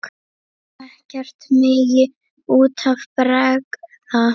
Ekkert megi út af bregða.